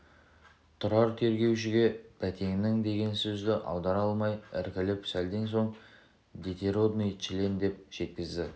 тұрар тергеушіге бәтеңнің деген сөзді аудара алмай іркіліп сәлден соң детеродный член деп жеткізді